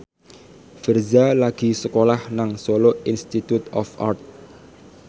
Virzha lagi sekolah nang Solo Institute of Art